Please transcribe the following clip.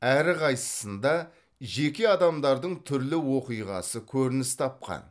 әрқайсысында жеке адамдардың түрлі оқиғасы көрініс тапқан